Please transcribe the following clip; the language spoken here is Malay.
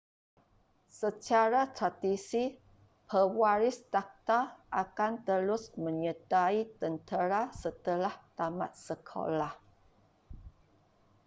secara tradisi pewaris takhta akan terus menyertai tentera setelah tamat sekoloah